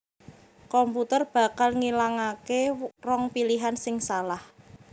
komputer bakal ngilangaké rong pilihan sing salah